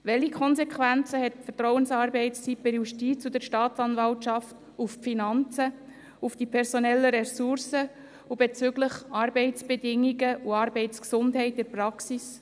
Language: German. Welche Konsequenzen hat die Vertrauensarbeitszeit bei der Justiz und der Staatsanwaltschaft auf die Finanzen, die personellen Ressourcen und bezogen auf die Arbeitsbedingungen und die Arbeitsgesundheit in der Praxis?